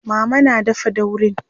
mama na dafa daurin